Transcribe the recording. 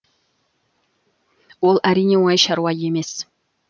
ол әрине оңай шаруа емес